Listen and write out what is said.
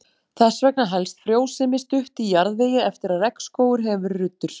Þess vegna helst frjósemi stutt í jarðvegi eftir að regnskógur hefur verið ruddur.